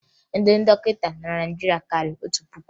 Ndị dọkịta nọ na Naịjirịa karịrị otu puku